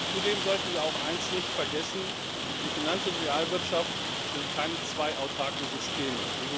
Zudem sollten wir auch eins nicht vergessen Die Finanz und Realwirtschaft sind keine zwei autarken Systeme.